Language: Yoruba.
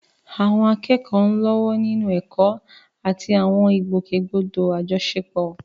Àwọn akẹ́kọ̀ọ́ ń lọ́wọ́ nínú ẹ̀kọ́ àti àwọn ìgbòkègbodò àjọṣepọ̀.